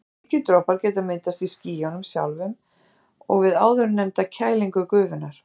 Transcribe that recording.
Slíkir dropar geta myndast í skiljunum sjálfum og við áðurnefnda kælingu gufunnar.